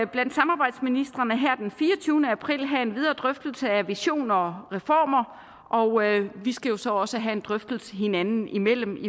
blandt samarbejdsministrene her den fireogtyvende april have en videre drøftelse af visioner og reformer og vi skal jo så også have en drøftelse hinanden imellem